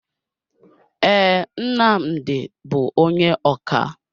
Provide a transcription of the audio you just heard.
Ee, Nnamdi bú onye ọkà.